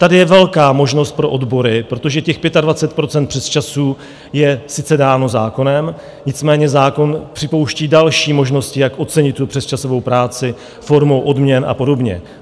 Tady je velká možnost pro odbory, protože těch 25 % přesčasů je sice dáno zákonem, nicméně zákon připouští další možnosti, jak ocenit tu přesčasovou práci formou odměn a podobně.